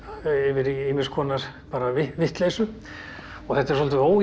ýmis konar vitleysu þetta er svolítið ójafn